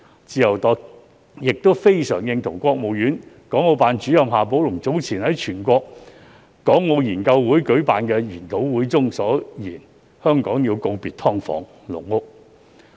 自由黨亦非常認同國務院港澳辦主任夏寶龍早前在全國港澳研究會舉辦的研討會中所言，香港要告別"劏房"、"籠屋"。